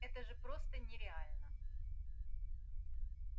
это же просто нереально